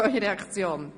Artikel 31 Absatz 1: